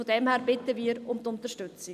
Daher bitten wir um Unterstützung.